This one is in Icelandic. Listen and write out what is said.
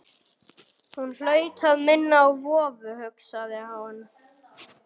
Hún hlaut að minna á vofu, hugsaði hún.